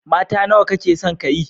Mata nawa kake son ka yi?